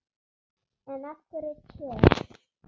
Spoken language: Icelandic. En af hverju te?